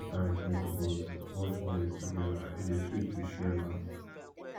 sometimes we suppose watch movies togeda e dey sweet to share laughs